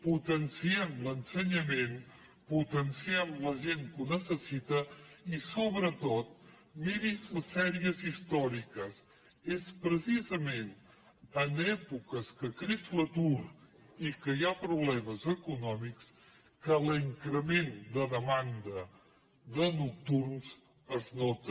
potenciem l’ensenyament potenciem la gent que ho necessita i sobretot miri’s les sèries històriques és precisament en èpoques que creix l’atur i que hi ha problemes econòmics que l’increment de demanda de nocturns es nota